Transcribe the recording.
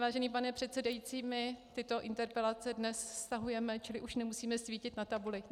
Vážený pane předsedající, my tyto interpelace dnes stahujeme, čili už nemusíme svítit na tabuli.